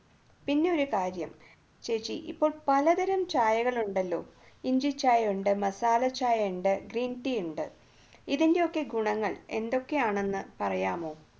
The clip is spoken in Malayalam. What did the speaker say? പിന്നെ ഒരു കാര്യം ചേച്ചി ഇപ്പോൾ പലതരം ചായകൾ ഉണ്ടല്ലോ ഇഞ്ചി ചായയുണ്ട് മസാല ചായയുണ്ട് green tea ണ്ട് ഇതിൻറെയൊക്കെ ഗുണങ്ങൾ എന്തൊക്കെയാണ് എന്ന് പറയാമോ